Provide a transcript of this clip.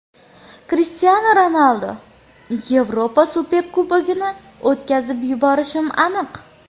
Krishtianu Ronaldu: Yevropa Superkubogini o‘tkazib yuborishim aniq.